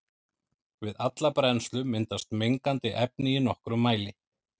Við alla brennslu myndast mengandi efni í nokkrum mæli.